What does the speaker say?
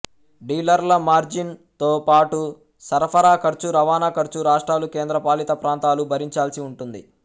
డీలర్ల margin తో పాటు సరఫరా ఖర్చు రవాణా ఖర్చు రాష్టాలు కేంద్రపాలిత ప్రాంతాలు భరించాల్సి ఉంటుంది